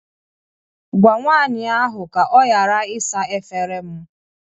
Gwa nwanyị ahụ ka ọ ghara ịsa efere m